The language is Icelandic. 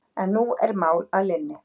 En nú er mál að linni.